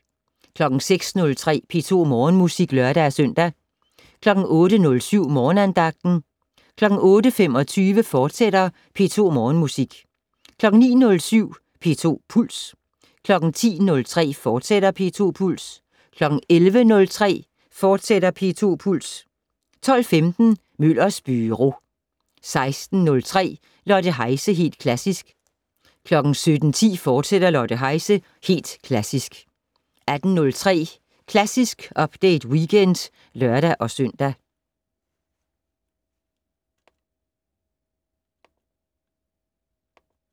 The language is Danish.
06:03: P2 Morgenmusik (lør-søn) 08:07: Morgenandagten 08:25: P2 Morgenmusik, fortsat 09:07: P2 Puls 10:03: P2 Puls, fortsat 11:03: P2 Puls, fortsat 12:15: Møllers Byro 16:03: Lotte Heise - Helt Klassisk 17:10: Lotte Heise - Helt Klassisk, fortsat 18:03: Klassisk Update Weekend (lør-søn)